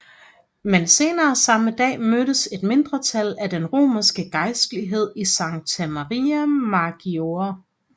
Men senere samme dag mødtes et mindretal af den romerske gejstlighed i Santa Maria Maggiore